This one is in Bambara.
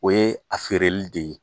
O ye a feereli de ye